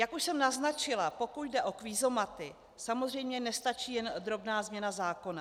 Jak už jsem naznačila, pokud jde o kvízomaty, samozřejmě nestačí jen drobná změna zákona.